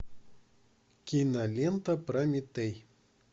кинолента прометей